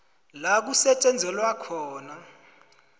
la kusetjenzelwa khona